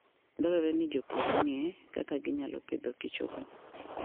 Dwarore ni jopur ong'e kaka ginyalo pidhokichogo.